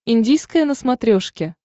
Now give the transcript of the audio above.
индийское на смотрешке